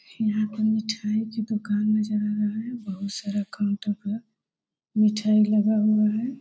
यहाँ पे मिटाई की दुकान नजर आ रहा है। बहुत सारा काउंटर पर मिटाई लगा हुआ है।